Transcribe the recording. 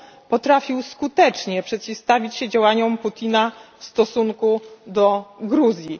potrafił skutecznie przeciwstawić się działaniom Putina w stosunku do Gruzji.